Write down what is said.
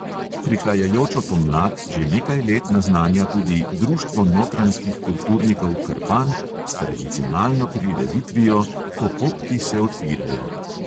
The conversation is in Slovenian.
Prihajajočo pomlad že nekaj let naznanja tudi društvo notranjskih kulturnikov krpan s tradicionalno prireditvijo "ko popki se odpirajo".